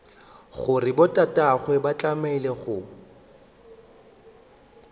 gore botatagwe ba tlemile go